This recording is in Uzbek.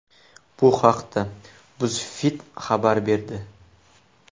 Bu haqda BuzzFeed xabar berdi .